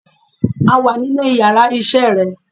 A wà nínú yàrá isé re